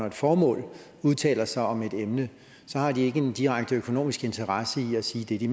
et formål udtaler sig om et emne har de ikke en direkte økonomisk interesse i at sige det de